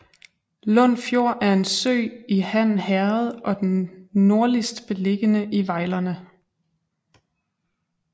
Lund Fjord er en sø i Han Herred og den nordligst beliggende i Vejlerne